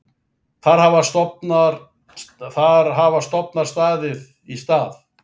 Þar hafa stofnar staðið í stað.